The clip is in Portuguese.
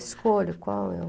Escolho qual é o...